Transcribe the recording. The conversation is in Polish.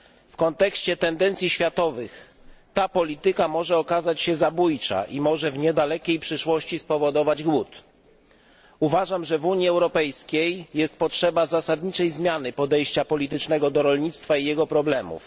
W kontekście tendencji światowych, ta polityka może okazać się zabójcza i może w niedalekiej przyszłości spowodować głód. Uważam, że w Unii Europejskiej jest potrzeba zasadniczej zmiany podejścia politycznego do rolnictwa i jego problemów.